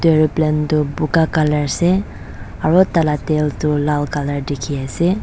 aeroplane tu boga colour ase aru talah tail tu lal colour dikhi ase.